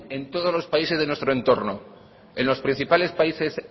en todos los países de nuestro entorno en los principales países